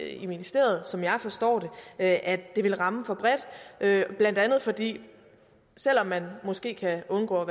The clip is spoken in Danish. i ministeriet som jeg forstår det at det vil ramme for bredt blandt andet fordi selv om man måske kan undgå at